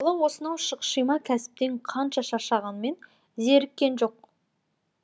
бала осынау шұқшима кәсіптен қанша шаршағанмен зеріккен жоқ